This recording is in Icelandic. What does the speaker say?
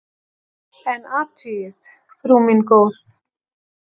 En athugið, frú mín góð!